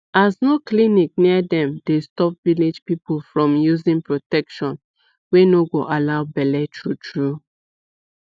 as no clinic near dem dey stop village people from using protection wey no go allow bele true true